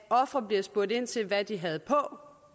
og ofre bliver spurgt ind til hvad de havde på